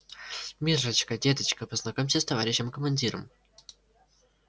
миррочка деточка познакомься с товарищем командиром